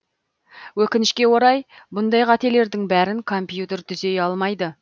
өкінішке орай бұндай қателердің бәрін компьютер түзей алмайды